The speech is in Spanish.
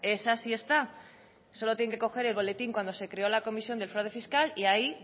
esa sí está solo tienen que coger el boletín cuando se creó la comisión del fraude fiscal y ahí